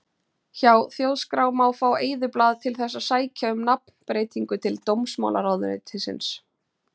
Hjá Þjóðskrá má fá eyðublað til þess að sækja um nafnbreytingu til dómsmálaráðuneytisins.